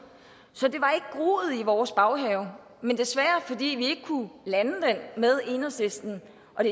så det var i vores baghave men fordi vi ikke kunne lande den med enhedslisten